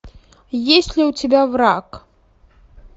есть ли у тебя враг